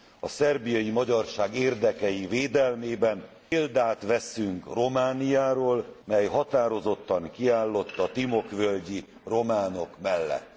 A szerbiai magyarság érdekei védelmében példát veszünk Romániáról, mely határozottan kiállott a timok völgyi románok mellett.